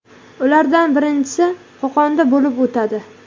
Ulardan birinchisi Qo‘qonda bo‘lib o‘tadi.